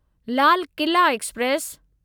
Lal Qila express